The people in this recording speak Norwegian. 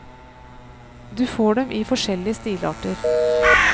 Du får dem i forskjellige stilarter.